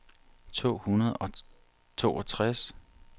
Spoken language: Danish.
to hundrede og toogtres